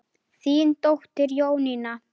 Þín dóttir, Jónína.